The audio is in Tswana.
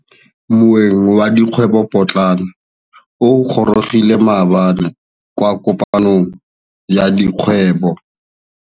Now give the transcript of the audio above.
Moêng wa dikgwêbô pôtlana o gorogile maabane kwa kopanong ya dikgwêbô.